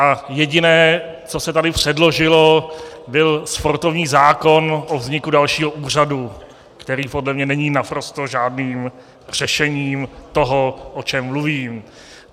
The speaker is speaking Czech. A jediné, co se tady předložilo, byl sportovní zákon o vzniku dalšího úřadu, který podle mě není naprosto žádným řešením toho, o čem mluvím.